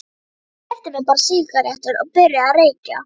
Ég keypti mér bara sígarettur og byrjaði að reykja.